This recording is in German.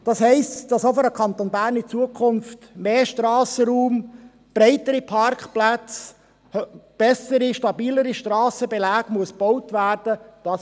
Das heisst, dass auch für den Kanton in Zukunft mehr Strassenraum, breitere Parkplätze und bessere, stabilere Strassenbeläge gebaut werden müssen.